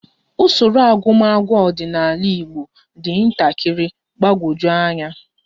Usoro agụmagụ ọdịnala Igbo dị ntakịrị mgbagwoju anya